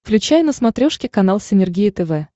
включай на смотрешке канал синергия тв